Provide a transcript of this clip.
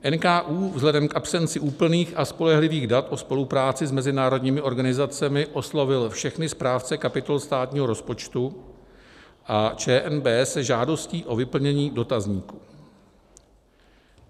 NKÚ vzhledem k absenci úplných a spolehlivých dat o spolupráci s mezinárodními organizacemi oslovil všechny správce kapitol státního rozpočtu a ČNB se žádostí o vyplnění dotazníku.